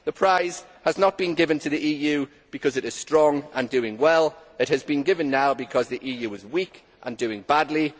The prize has not been given to the EU because it is strong and doing well. It has been given now because the EU is weak and doing badly.